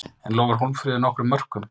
En lofar Hólmfríður nokkrum mörkum?